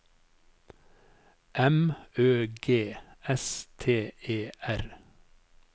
M Ø G S T E R